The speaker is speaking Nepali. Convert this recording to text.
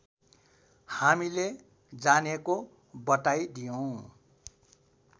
हामीले जानेको बताइदियौँ